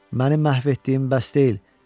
Məni məhv etdiyin bəs deyil?